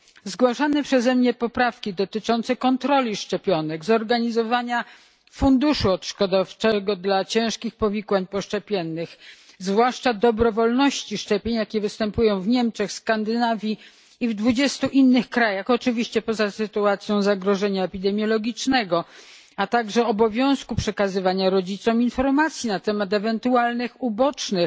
Zgłaszane przeze mnie poprawki dotyczące kontroli szczepionek, zorganizowania funduszu odszkodowawczego w przypadku ciężkich powikłań poszczepiennych, zwłaszcza dobrowolności szczepień, jaka występuje w Niemczech, Skandynawii i w dwudziestu innych krajach oczywiście poza sytuacją zagrożenia epidemiologicznego a także obowiązku przekazywania rodzicom informacji na temat ewentualnych ubocznych